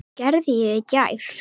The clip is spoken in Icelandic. Hvað gerði ég?